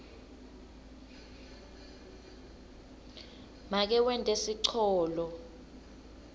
make wente sicholo